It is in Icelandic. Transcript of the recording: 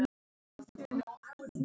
Mörinn sýgur, meiðir, lýgur.